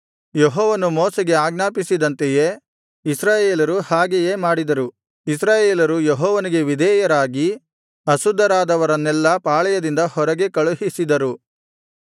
ಯೆಹೋವನು ಮೋಶೆಗೆ ಆಜ್ಞಾಪಿಸಿದಂತೆಯೇ ಇಸ್ರಾಯೇಲರು ಹಾಗೆಯೇ ಮಾಡಿದರು ಇಸ್ರಾಯೇಲರು ಯೆಹೋವನಿಗೆ ವಿಧೇಯರಾಗಿ ಅಶುದ್ಧರಾದವರನ್ನೆಲ್ಲಾ ಪಾಳೆಯದಿಂದ ಹೊರಗೆ ಕಳುಹಿಸಿದರು